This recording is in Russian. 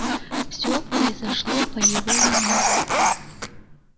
всё произошло по его вине